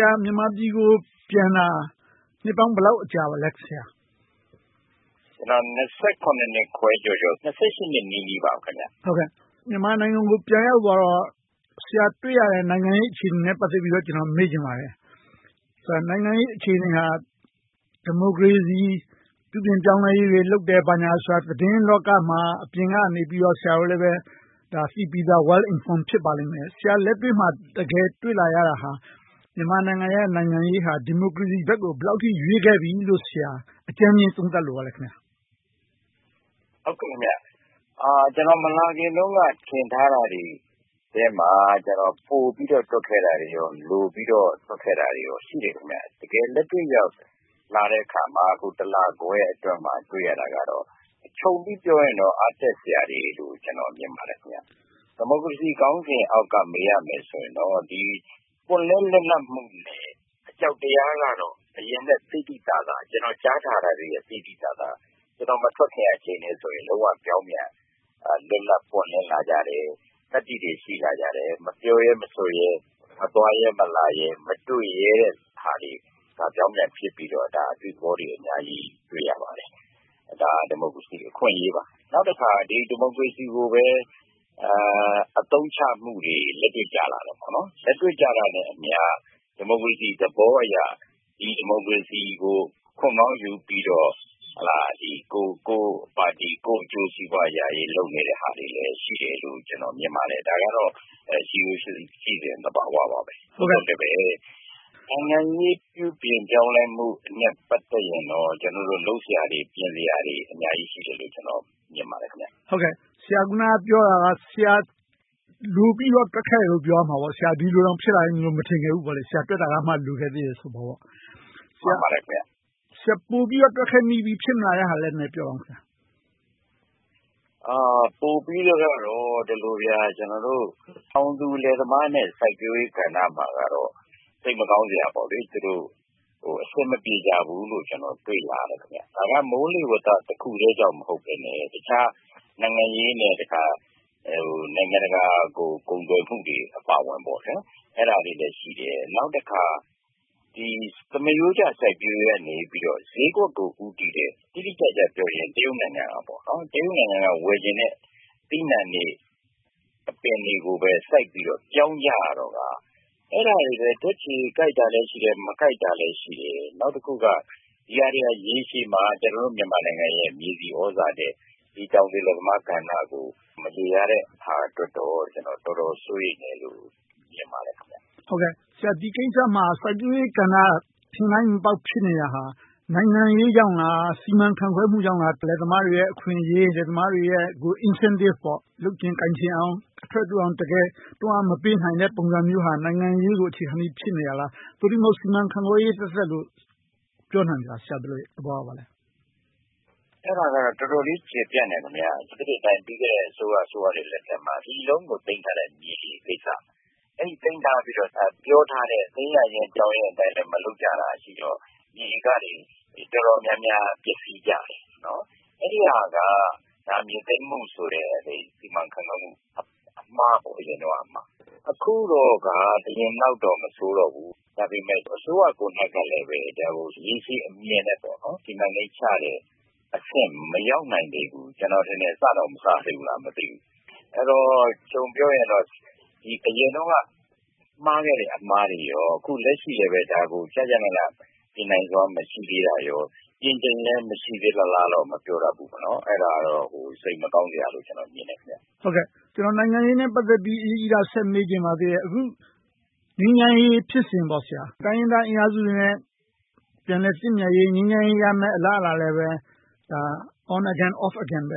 ရာ မြန်မာပြည်ကိုပြန်တာ နှစ်ပေါင်းဘယ်လောက်ကြာမှလဲ ခင်များ။ နှစ်ဆယ့်ခုနှစ်ကျော်ကျော် နှစ်ဆယ့်ရှစ်နှစ်နီးနီးပါ။ မြန်မာနိုင်ငံကို ပြန်ရောက်သွားတော့ ဆရာ တွေ့ရတဲ့ နိုင်ငံရေးအခြေအနေနဲ့ ပတ်သက်ပြီးတော့ မေးချင်ပါတယ်။ နိုင်ငံရေးအခြေအနေဟာ ဒီမိုကရေစီ ပြုပြင်ပြောင်းလဲရေးတွေလုပ်တယ်၊ ဘာညာဆိုတာ သတင်းလောကမှာ အပြင်ကနေ သိပြီသာ။ Well-informed ဖြစ်ပါလိမ့်မယ်။ လက်တွေ့မှာ တကယ်တွေ့လာရတာဟာ မြန်မာနိုင်ငံရဲ့ နိုင်ငံရေးဟာ ဒီမိုကရေစီဘက်ကို ဘယ်လောက်အထိ ရွေ့ခဲ့ပြီလို့ အကြမ်းမျဉ်းသုံးသပ်လိုပါလဲ။ ကျနော် မလာခင်တုန်းက ထင်ထားတာတွေထဲမှာ ပိုပြီးတော့ တွက်ခဲ့တာတွေ လိုပြီးတော့ တွက်ခဲ့တာတွေ ရှိခဲ့တယ်။ တကယ်လက်တွေ့ရောက်လာတဲ့အခါမှာ တစ်လခွဲအတွင်းမှာ တွေ့ရတာကတော့ ခြုံပြီးပြောရရင်တော့ အားတက်စရာတွေလို့ ကျနော်မြင်ပါတယ်။ ဒီမိုကရေစီခေါင်းစဉ်အောက်က မေးရမယ်ဆိုရင်တော့ ပွင့်လင်းလွတ်လပ်မှုနဲ့ အကြောက်တရားကတော့ အရင်ထက် သိသိသာသာ၊ ကျနော်ကြားထားတာတွေ သိသိသာသာ၊ ကျနော်မထွက်ခင်က အခြေအနေနဲ့ဆိုရင် လုံးဝပြောင်းပြန်၊ လွတ်လပ်ပွင့်လင်းလာကြတယ်။ သတ္တိတွေ ရှိလာကြတယ်။ မပြောရဲ မဆိုရဲ၊ မသွားရဲ မလာရဲ၊ မတွေ့ရဲတဲ့ဟာတွေ ပြောင်းပြန်ဖြစ်ပြီး.. တွေ့ရပါတယ်။ ဒါက ဒီမိုကရေစီအခွင့်အရေးပါ။ နောက်တခါ ဒီမိုကရေစီကိုပဲ အသုံးချမှုတွေ လက်တွေ့ကျလာတယ်။ လက်တွေ့ကျလာတာနဲ့အမျှ ဒီမိုကရေစီသဘောအရ ဒီမိုကရေစီကို အခွင့်အကောင်းယူပြီးတော့ ကိုယ့်ပါတီ၊ ကိုယ့်အကျိုးစီးပွား ရရှိရေးလုပ်နေတာတွေလည်း ရှိတယ်လို့ ကျနော်မြင်ပါတယ်။ ဒါကတော့ ရှိရိုးရှိစဉ် သဘာဝပါပဲ။ နိုင်ငံရေးပြုပြင်ပြောင်းလဲမှုနဲ့ ပတ်သက်ရင်တော့ ကျနော်တို့ လုပ်စရာတွေ၊ ပြင်စရာတွေ အများကြီး ရှိတယ်လို့ ကျနော်မြင်ပါတယ်။ ဆရာ အခုနပြောတာက ဆရာ လိုပြီးတော့ တွက်ခဲ့တယ်လို့ ပြောရမှာပေါ့။ ဒီလိုတောင် ဖြစ်လာလိမ့်မယ်လို့ မထင်ခဲ့ဘူးပေါ့။ ဆရာ တွက်တာက လိုနေသေးတယ်ပေါ့။ ပိုပြီးတော့ တွက်ခဲ့ပြီး ဖြစ်မလာတာတွေလည်း ပြောပါ။ ပိုပြီးတော့ကတော့ တောင်သူလယ်သမားနဲ့ စိုက်ပျိုးရေးကဏ္ဍမှာတော့ စိတ်မကောင်းစရာပေါ့။ သူတို့တွေ အဆင်မပြေကြဘူးလို့ တွေ့လာတယ်။ ဒါက မိုးလေဝသတခုတည်းနဲ့ မဟုတ်ဘဲနဲ့ တခြားနိုင်ငံရေးနဲ့ နိုင်ငံတကာ ကုန်သွယ်မှုတွေ အပါအဝင်ပေါ့။ အဲဒါတွေလည်းရှိတယ်။ နောက်တခါ သမာရိုးကျ စိုက်ပျိုးနေရကနေ ဈေးကွက်ကို ဦးတည်တဲ့ တိတိကျကျ ပြောရရင် တရုတ်နိုင်ငံက ဝယ်ချင်တဲ့ သီးနံှတွေ၊ အပင်တွေကိုပဲ စိုက်ဖို့ပြောင်းကြရတော့ အဲဒါတွေက တွက်ခြေကိုက်တာရှိတယ်၊ တွက်ခြေမကိုက်တာရှိတယ်။ နောက်တခုက ဒီဟာတွေက ရေရှည်မှာ ကျနော်တို့ မြန်မာနိုင်ငံရဲ့ မြေဆီသြဇာအတွက် ဒီတောင်သူလယ်သမားကဏ္ဍကို မရေရာတဲ့ဟာအတွက်တော့ ကျနော် တော်တော်စိုးရိမ်တယ်။ ဒီကိစ္စမှာ စိုက်ပျိုးရေးကဏ္ဍ ထင်တိုင်းမပေါက် ဖြစ်နေတာဟာ နိုင်ငံရေးကြောင့်လား။ စီမံခန့်ခွဲမှုကြောင့်လား။ လယ်သမားတွေရဲ့ အခွင့်အရေး၊ လယ်သမားတွေရဲ့ Incentives လုပ်ချင်ကိုင်ချင်အောင်၊ အထွက်တိုးအောင် တွန်းအားမပေးနိုင်တဲ့ ပုံစံမျိုးဟာ နိုင်ငံရေးကို အခြေခံပြီး ဖြစ်နေတာလား။ သို့တည်းမဟုတ် စီမံခန့်ခွဲရေးသက်သက်လို့ ပြောနိုင်ပြီလား။ ဆရာ ဘယ်လိုသဘောရလဲ။ အဲဒါက တော်တော်လေး ကျယ်ပြန့်တယ်။ သိတဲ့အတိုင်း ပြီးခဲ့တဲ့ အစိုးရတိုင်းမှာ တပြည်လုံးကို သိမ်းထားတဲ့ မြေတွေကိစ္စ - သိမ်းထားပြီးတော့ ပြောထားတဲ့ သိမ်းရခြင်းအကြောင်းရင်းအတိုင်း မလုပ်ကြတာရှိတော့ မြေဧကတွေ တော်တော်များများ ပျက်ဆီးကြတယ်။ အဲဒီဟာက မြေသိမ်းမှုဆိုတဲ့ စီမံခန့်ခွဲမှုအမှားလို့ ပြောရမှာ။ အခုတော့ အရင်လောက်တော့ မဆိုးတော့ဘူး။ ဒါပေမဲ့ အစိုးရကိုယ်တိုင်လည်း ဒါကို ရေရှည်အမြင်နဲ့ စီမံကိန်းချတဲ့အဆင့် မရောက်နိုင်သေးဘူး။ ကျနော်ထင်တယ် စတောင်မစရသေးဘူးထင်တယ်။ အဲဒီတော့ ခြုံပြောရင်တော့ အရင်တုန်းက မှားခဲ့တဲ့အမှားတွေ၊ အခုလက်ရှိလဲပဲ ဒါကို ကျကျနန ပြင်နိုင်စွမ်းမရှိသေးတာနဲ့ ပြင်ချိန်လဲ မရှိသေးသလား မပြောတတ်ဘူး။ အဲဒါကတော့ စိတ်မကောင်းစရာလို့ ကျနော်မြင်တယ်။ နိုင်ငံရေးပတ်သက်ပြီး ဆက်မေးချင်ပါသေးတယ်။ အခု ငြိမ်းချမ်းရေးဖြစ်စဉ်မှာ တိုင်းရင်းသားအင်အားစုတွေနဲ့ ပြန်လည်သင့်မြတ်ရေး၊ ငြိမ်းချမ်းရေးရမယ့် အလားအလာလည်း On again Off again တ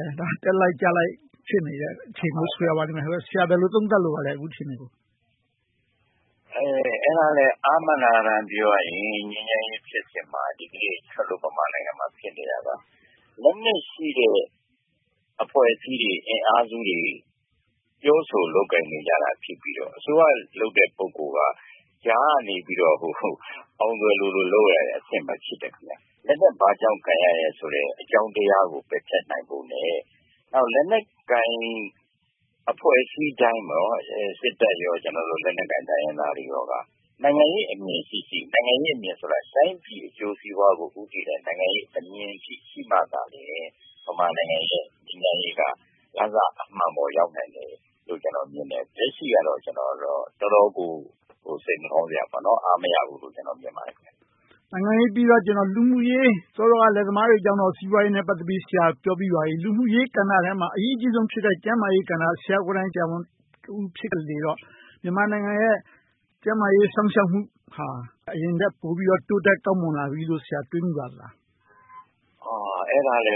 က်လိုက်ကျလိုက် ဖြစ်နေတဲ့ အချိန်မျိုးလို့ ဆိုရပါလိမ့်မယ်။ အခုအခြေအနေကို ဆရာ ဘယ်လိုသုံးသပ်လိုပါလဲ။ အဲဒါကိုလဲ အားမနာတမ်း ပြောရရင် ငြိမ်းချမ်းရေးဖြစ်စဉ်မှာ ဒီကနေ့ ဗမာနိုင်ငံမှာ ဖြစ်နေတာက လက်နက်ရှိတဲ့ အဖွဲ့အစည်းတွေ၊ အင်အားစုတွေ ပြောဆိုလုပ်ကိုင်နေကြတာဖြစ်ပြီးတော့ အစိုးရလုပ်တဲ့ ပုဂ္ဂိုလ်က ကြားကနေ အောင်သွယ်လိုလို လုပ်နေရတဲ့အဆင့်မှာ ရှိနေတယ်။ လက်နက် ဘာကြောင့်ကိုင်ရသလဲဆိုတဲ့ အကြောင်းတရားကို ပယ်ဖျက်နိုင်ဖို့နဲ့ လက်နက်ကိုင် အဖွဲ့အစည်းတိုင်း စစ်တပ်နဲ့ လက်နက်ကိုင်တိုင်းရင်းသားတွေက နိုင်ငံရေးအမြင်ရှိရှိ - နိုင်ငံရေးအမြင်ဆိုတာ တိုင်းပြည်အကျိုးစီးပွားကို ဦးတည်တဲ့ နိုင်ငံရေးအမြင်အထိ ရှိမှာသာလျှင် ဗမာနိုင်ငံရဲ့ ငြိမ်းချမ်းရေးက လမ်းစအမှန်ပေါ် ရောက်နိုင်မယ်လို့ ကျနော်မြင်တယ်။ လက်ရှိကတော့ တော်တော်ကို စိတ်မကောင်းစရာပါ။ အားမရဘူးလို့ ကျနော် မြင်ပါတယ်။ နိုင်ငံရေးပြီးတော့ လူမှုရေး။ စောစောကတော့ လယ်သမားတွေအကြောင်းတော့ စီးပွားရေးနဲ့ ပတ်သက်ပြီး ဆရာပြောပြီးပါပြီ။ လူမှုရေးကဏ္ဍထဲမှာ အရေးကြီးဆုံးဖြစ်တဲ့ ကျန်းမာရေးကဏ္ဍ - ဆရာကိုယ်တိုင် ဆရာဝန်တဦးဖြစ်နေတော့ မြန်မာနိုင်ငံရဲ့ ကျန်းမာရေးစောင့်ရှောက်မှုဟာ အရင်ထက်ပိုပြီးတော့ တိုးတက်ကောင်းမွန်လာပြီလို့ ဆရာ တွေးမိပါသလား။ အဲဒါကတော့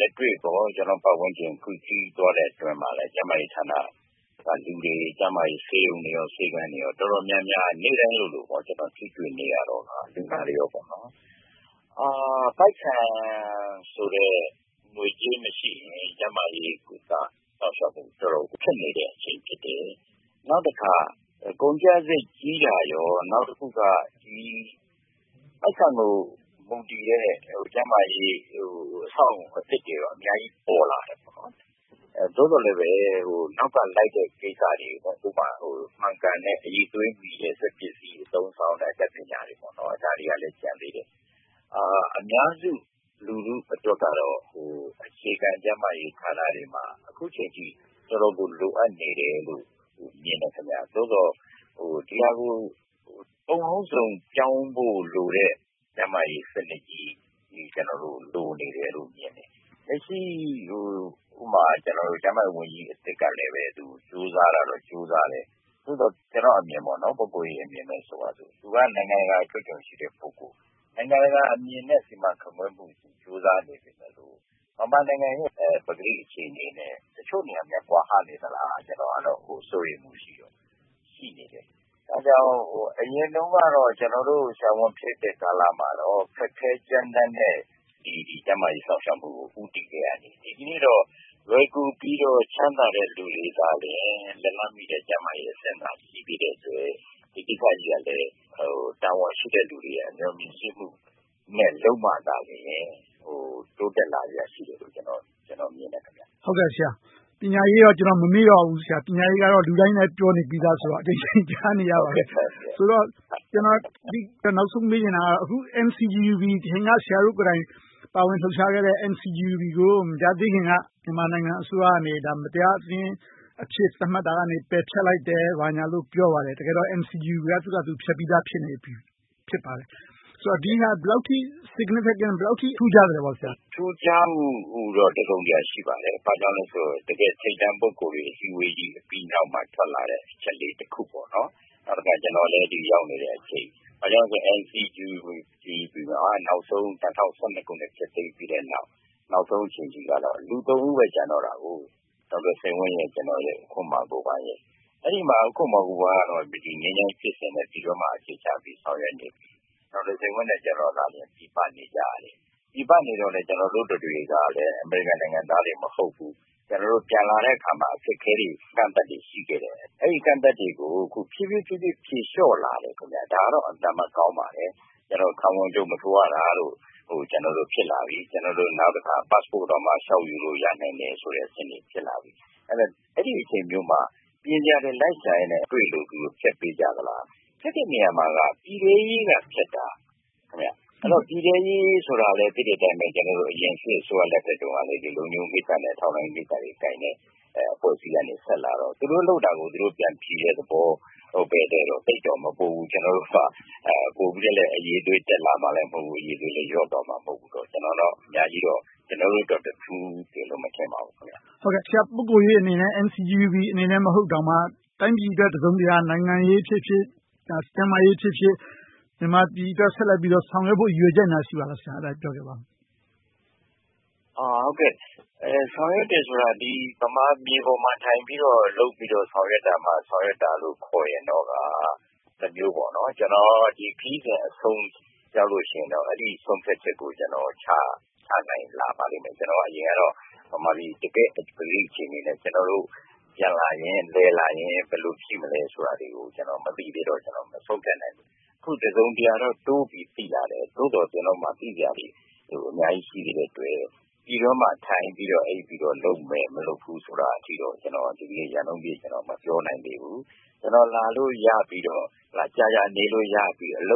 လက်တွေ့ ကျနော့်ပတ်ဝန်းကျင် ခရီးသွားတဲ့အထဲမှာလည်း ကျန်းမာရေးဌာနကလူတွေ၊ ကျန်းမာရေးဆေးရုံ၊ ဆေးခန်းတွေ တော်တော်များများ နေ့တိုင်းလိုလို လူနာတွေအပါအဝင် ထိတွေ့နေရတော့ ပိုက်ဆံဆိုတဲ့ ငွေကြေးမရှိရင် ကျန်းမာရေးကုသ စောင့်ရှောက်မှု တော်တော်ခက်နေတဲ့အချိန် ဖြစ်တယ်။ နောက်တခါ ကုန်ကျစရိတ်ကြီးတာကော နောက်တခုက ပိုက်ဆံကို မူတည်တဲ့ ကျန်းမာရေး အဆောက်အအုံအသစ်တွေတော့ အများကြီးပေါ်လာတယ်။ သို့သော်လဲ နောက်ကလိုက်တဲ့ကိစ္စတွေ ဥပမာ မှန်ကန်တဲ့ အရည်အသွေးမီတဲ့ စက်ပစ္စည်း၊ အသုံးအဆောင်၊ အတတ်ပညာတွေ ကျန်သေးတယ်။ အများစု လူထုအတွက်ကတော့ အခြေခံကျန်းမာရေးဌာနတွေမှာ အခုအချိန်အထိ တော်တော်လိုအပ်နေတယ်လို့ မြင်တယ်။ သို့သော် ဒီဟာကို အလုံးစုံပြောင်းဖို့လိုတဲ့ ကျန်းမာရေးစနစ်ကြီး လိုနေတယ်လို့မြင်တယ်။ လက်ရှိ ကျန်းမာရေးဝန်ကြီးအသစ်ကလည်း ကြိုးစားတာတော့ ကြိုးစားတယ်။ သို့သော် ကျနော့် ပုဂ္ဂိုလ်ရေးအမြင်ပဲ ဆိုပါစို့ - သူက နိုင်ငံတကာအတွေ့အကြုံရှိတဲ့ ပုဂ္ဂိုလ်။ နိုင်ငံတကာအမြင်နဲ့ စီမံခန့်ခွဲမှုမျိုးနဲ့ ကြိုးစားနေပေမယ့်လို့ ဗမာနိုင်ငံရဲ့ ပကတိအခြေအနေနဲ့ တချို့နေရာတွေမှာ ကွာဟနေသလားလို့ ကျနော်က စိုးရိမ်မှုရှိတယ်။ ဒါကြောင့် အရင်တုန်းကတော့ ကျနော်တို့ ဆရာဝန်ဖြစ်တဲ့ကာလမှာတော့ ခက်ခဲကြမ်းတမ်းတဲ့ ကျန်းမာရေးစောင့်ရှောက်မှုကို ဦးတည်နေရာကနေ ဒီကနေတော့ လွယ်ကူပြီးတော့ ချမ်းသာတဲ့လူတွေသာလျှင် လက်လှမ်းမီတဲ့ ကျန်းမာရေးအဆင့်သာ ရှိသေးတဲ့အတွက် ဒီကိစ္စကြီးကလည်း တာဝန်ရှိတဲ့လူတွေရဲ့ အမျှော်အမြင်ရှိမှုနဲ့သာ လုပ်မှသာလျှင် တိုးတက်စရာရှိမယ်လို့ ကျနော် မြင်ပါတယ်။ ပညာရေးတော့ မမေးပါဘူး။ ပညာရေးက လူတိုင်းလည်း ပြောနေပြီသားဆိုတော့ ကြားနေရပါတယ်။ ဆိုတော့ ကျနော် နောက်ဆုံးမေးချင်တာကတော့ အခု NCGUB အရင်က ဆရာတို့ကိုယ်တိုင် ပါဝင်လှုပ်ရှားခဲ့တဲ့ NCGUB ကို မကြာသေးခင်က မြန်မာနိုင်ငံအစိုးရကနေ မတရားအသင်းအဖြစ် သတ်မှတ်ထားတာကနေ ပယ်ဖျက်လိုက်ပြီ ဘာညာလို့ ပြောပါတယ်။ တကယ်တော့ NCGUB က သူဘာသာ ဖျက်ပြီးသား ဖြစ်နေပြီ ဖြစ်ပါတယ်။ ဆိုတော့ ဒီဟာ ဘယ်လောက်အထိ Significant ဘယ်လောက်အထိ ထူးခြားပါလဲ။ ထူးခြားမှုတော့ တစုံတရာ ရှိပါတယ်။ ပြောမယ်ဆို တကယ်ထိပ်တန်းပုဂ္ဂိုလ်တွေ အစည်းအဝေးကြီးနောက်မှာ ထွက်လာတဲ့အချက်ကလေး တခုပေါ့။ နောက်တခါ ကျနော်လည်း ဒီရောက်နေတဲ့အချိန်။ ဘာကြောင့်လဲဆိုရင် NCGUB မှာ နောက်ဆုံး ၂၀၁၂ ခုနှစ် ဖျက်သိမ်းပြီးနောက် နောက်ဆုံးအချိန်ထိ လူ ဦးပဲ ကျန်တော့တယ်။ ဒေါက်တာစိန်ဝင်း၊ ကျနော်ရယ်၊ ဦးခွန်မားကိုဘန်းရယ်။ အဲဒီမှာ ဦးခွန်မားကိုဘန်းကတော့ ငြိမ်းချမ်းရေးဖြစ်စဉ်နဲ့ အခြေချပြီး ဆောင်ရွက်နေပြီ။ ဒေါက်တာစိန်ဝင်းနဲ့ ကျနော်ကတော့ ပြည်ပအခြေချနေကြတယ်။ ပြည်ပနေတော့ ကျနော်တို့တွေက အမေရိကန်နိုင်ငံသားလည်း မဟုတ်ဘူး။ ကျနော်တို့ ပြန်လာတဲ့အခါမှာ အခက်အခဲတွေ အကန့်အသတ်တွေ ရှိခဲ့တယ်။ အဲဒီအကန့်အသတ်တွေကို အခု ဖြည်းဖြည်းဖြေလျှော့လာခဲ့တယ်။ ဒါကတော့ အင်မတန် ကောင်းပါတယ်။ ခံဝန်ချက် မထိုးရတာတို့ ဖြစ်လာပြီ။ ကျနော်တို့ နောက်တခါ Passport တောင် လျှောက်ယူလို့ရနိုင်တဲ့ အဆင့်တွေ ဖြစ်လာပြီ။ အဲဒီအခြေအနေမျိုးမှာ ပညာသည်လိုက်ရှာရင် တွေ့လိုသူကို ဖျက်ပေးကြသလား။ ဖျက်တဲ့နေရာမှာ ပြည်ထဲရေးက ဖျက်တာ။ ပြည်ထဲရေးဆိုတာလည်း သိတဲ့အတိုင်းပဲ အရင်စစ်အစိုးရလက်ထက်တုန်းကလည်း ဒီလိုမျိုး နှိပ်ကွပ်တဲ့ ထောက်လှမ်းရေးတွေကိုင်တဲ့ အဖွဲ့အစည်းက ထွက်လာတော့ သူတို့လုပ်တာကို သူတို့ ပြန်ဖြေတဲ့သဘော လုပ်တဲ့အတွက် သိပ်တော့မပိုဘူး။ ကျနော်တို့က ပိုပြီးတော့ အရည်အသွေးတက်လာမှာလည်း မဟုတ်ဘူး။ အရည်အသွေးလည်း လျော့သွားမှာ မဟုတ်ဘူး။ ကျနော်တော့ အကြာကြီး ကျနော်တို့အတွက် ထူးမယ်လို့ မထင်ပါဘူး။ ပုဂ္ဂိုလ်ရေးအနေနဲ့ NCGUB အနေနဲ့ မဟုတ်တောင်မှ တိုင်းပြည်အတွက် တစုံတရာ နိုင်ငံရေးဖြစ်ဖြစ်၊ ကျန်းမာရေးဖြစ်ဖြစ် မြန်မာပြည်အတွက် ဆက်လက်ပြီး ဆောင်ရွက်ဖို့ ရည်ရွယ်ချက်များ ရှိပါသလား။ အဲဒါကိုလည်း ပြောခဲ့ပါအုံး။ ဆောင်ရွက်တယ်ဆိုတာ ဗမာပြည်ပေါ်မှာထိုင်ပြီးတော့ လုပ်မှ ဆောင်ရွက်တာလို့ ခေါ်ရင်တော့က တမျိုးပေါ့။ ကျနော်က ဒီခရီးစဉ်အဆုံးကြရင်တော့ အဲဒီဆုံးဖြတ်ချက်ကို ကျနော် ချလာနိုင်ပါလိမ့်မယ်။ အရင်ကတော့ ဗမာပြည် ပကတိအခြေအနေနဲ့ ကျနော်တို့ ပြန်လာရင်၊ လွယ်လာရင် ဘယ်လိုဖြစ်မလဲဆိုတာတွေကို ကျနော် မသိသေးတော့ မဆုံးဖြတ်နိုင်သေးဘူး။ အခု တစုံတရာတော့ တိုးပြီးသိလာတယ်။ သို့သော် ကျနော်မှာ သိစရာတွေ အများကြီး ရှိနေသေးတဲ့အတွက် ပြည်တွင်းမှာထိုင်ပြီးတော့ လုပ်မယ်၊ မလုပ်ဘူးဆိုတာအထိတော့ ကျနော် ဒီနေ့ ရာနှုန်းပြည့် မပြောနိုင်သေးဘူး။ ကျနော် လာလို့ရပြီးတော့ ကြာကြာနေလို့ရပြီ၊ အလု